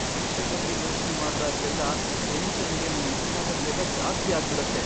ಪರೀಕ್ಷೆ ಬಗ್ಗೆ ಯೋಚ್ನೆ ಮಾಡ್ದಾಗ್ಲೆಲ್ಲ ಟೆನ್ಷನ್ಗೆ ನನ್ ಉಸ್ರಾಟದ್ ವೇಗ ಜಾಸ್ತಿ ಆಗ್ಬಿಡತ್ತೆ.